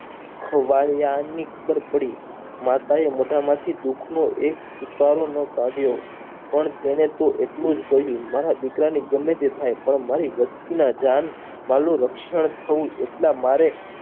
ખોવાળીયાની ઝુંપડી માતાએ મોઢા માંથી દુઃખનો એક ચુકારો ન કાઢ્યો પણ તેણે તો એટલું જ કહ્યું મારા દીકરાને ગમેતે થાય પણ મારી વસ્તીના જાન રક્ષણ થાય એટલા મારે